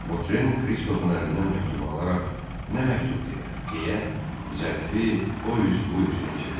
Votren Kristofun əlindən məktubu alaraq nə məktubdur elə deyə zərfi o üz bu üzünə çevirdi.